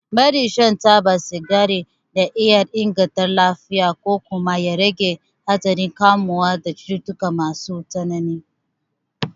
Barin shan taba sigari na iya inganta lafiyar ku kuma ya rage haɗarin kamuwa da cututtuka masu tsanani.